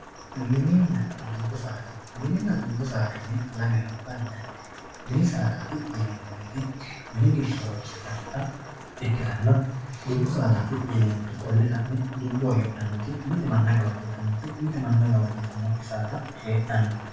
Mininna dubbu saada mininna dubbu saadaati yine lamewa bandanni mini saadaati yineemmoti mini giddo horonsi'nannita ikkitanna dubbu saadaati yineemmoti mite manna gawajjitannoti mite manna gawajjitannokkiti heedhanno